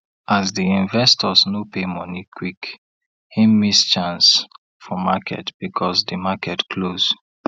as di investors no pay money quickhim miss chance for marketbecause di market close